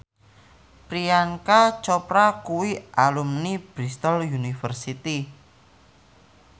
Priyanka Chopra kuwi alumni Bristol university